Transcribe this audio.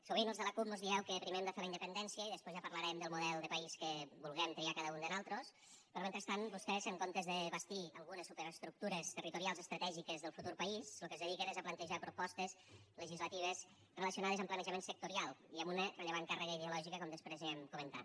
sovint als de la cup mos dieu que primer hem de fer la independència i després ja parlarem del model país que vulguem triar cada un de nosaltres però mentrestant vostès en comptes de bastir algunes superestructures territorials estratègiques del futur país a lo que es dediquen és a plantejar propostes legislatives relacionades amb planejament sectorial i amb una rellevant càrrega ideològica com després anirem comentant